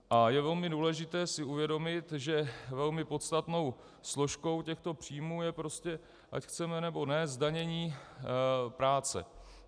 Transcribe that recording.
A je velmi důležité si uvědomit, že velmi podstatnou složkou těchto příjmů je prostě, ať chceme nebo ne, zdanění práce.